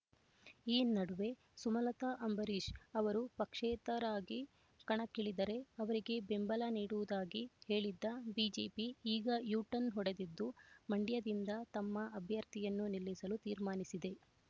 ಈ ನಡುವೆ ಸುಮಲತಾ ಅಂಬರೀಷ್ ಅವರು ಪಕ್ಷೇತರರಾಗಿ ಕಣಕ್ಕಿಳಿದರೆ ಅವರಿಗೆ ಬೆಂಬಲ ನೀಡುವುದಾಗಿ ಹೇಳಿದ್ದ ಬಿಜೆಪಿ ಈಗ ಯುಟರ್ನ್ ಹೊಡೆದಿದ್ದು ಮಂಡ್ಯದಿಂದ ತಮ್ಮ ಅಭ್ಯರ್ಥಿಯನ್ನು ನಿಲ್ಲಿಸಲು ತೀರ್ಮಾನಿಸಿದೆ